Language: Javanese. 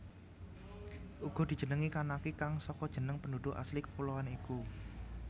Uga dijenengi Kanaki kang saka jeneng penduduk asli kepuloan iku